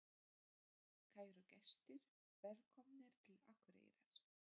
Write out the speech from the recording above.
Kæru gestir! Velkomnir til Akureyrar.